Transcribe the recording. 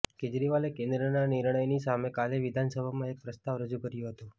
કેજરીવાલે કેન્દ્રના નિર્ણયની સામે કાલે વિધાનસભામાં એક પ્રસ્તાવ રજુ કર્યો હતો